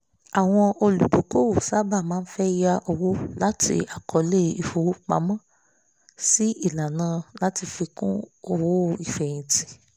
àwọn olùdókòwò sábà máa fẹ́ yá owó láti àkọọlẹ̀ ìfipamọ́ sí ìlànà láti fi kún owó ìfeyìntí